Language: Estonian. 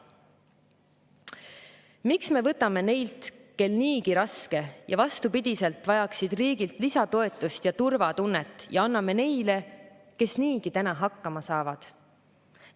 Miks me võtame neilt, kel niigi on raske ja kes vastupidiselt vajaksid riigilt lisatoetust ja turvatunnet, ja anname neile, kes niigi täna hakkama saavad?